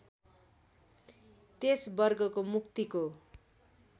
त्यस वर्गको मुक्तिको